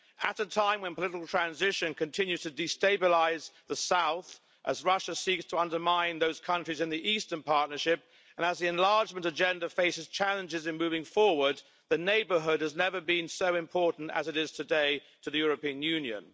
At a time when political transition continues to destabilise the south as Russia seeks to undermine those countries in the Eastern Partnership and as the enlargement agenda faces challenges in moving forward, the Neighbourhood has never been so important as it is today to the European Union.